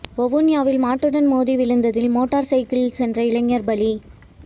வவுனியாவில் மாட்டுடன் மோதி விழுந்ததில் மோட்டார் சைக்கிளில் சென்ற இளைஞர் பலி